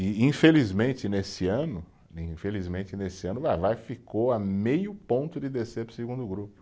E, infelizmente, nesse ano, infelizmente nesse ano Vai-Vai, ficou a meio ponto de descer para o segundo grupo.